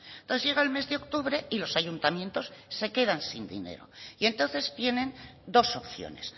entonces llega el mes de octubre y los ayuntamientos se quedan sin dinero y entonces tienen dos opciones